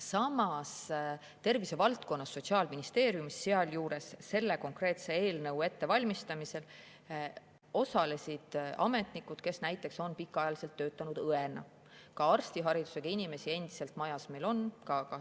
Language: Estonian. Samas, tervise valdkonnas Sotsiaalministeeriumis, sealjuures osalesid nad selle konkreetse eelnõu ettevalmistamisel, ametnikud, kes on pikaajaliselt töötanud näiteks õena, ka arstiharidusega inimesi meil majas endiselt on.